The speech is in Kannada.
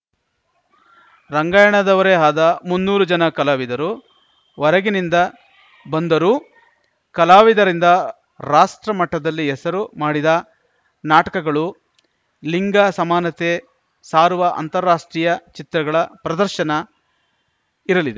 ರಂಗಾಯಣದವರೇ ಆದ ಮುನ್ನೂರು ಜನ ಕಲಾವಿದರು ಒರಗಿನಿಂದ ಬಂದರೂ ಕಲಾವಿದರಿಂದ ರಾಷ್ಟ್ರಮಟ್ಟದಲ್ಲಿ ಹೆಸರು ಮಾಡಿದ ನಾಟಕಗಳು ಲಿಂಗ ಸಮಾನತೆ ಸಾರುವ ಅಂತಾರಾಷ್ಟ್ರೀಯ ಚಿತ್ರಗಳ ಪ್ರದರ್ಶನ ಇರಲಿದೆ